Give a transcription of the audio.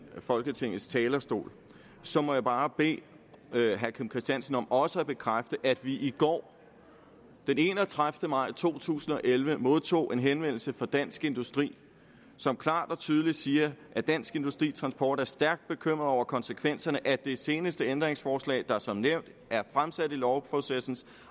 folketingets talerstol så må jeg bare bede herre kim christiansen om også at bekræfte at vi i går den enogtredivete maj to tusind og elleve modtog en henvendelse fra dansk industri som klart og tydeligt siger at dansk industri transport er stærkt bekymret over konsekvenserne af det seneste ændringsforslag der som nævnt er fremsat i lovprocessens